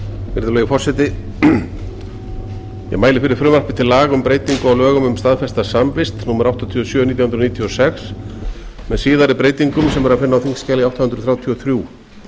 virðulegi forseti ég mæli fyrir frumvarpi til laga um breytingu á lögum um staðfesta samvist númer áttatíu og sjö nítján hundruð níutíu og sex með síðari breytingum sem er að finna á þingskjali átta hundruð þrjátíu og þrjú